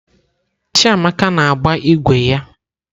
Chiamaka na-agba ígwè ya.